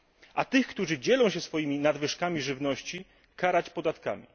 A tych, którzy dzielą się swoimi nadwyżkami żywności, karać podatkami.